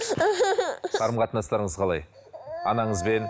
қарым қатынастарыңыз қалай анаңызбен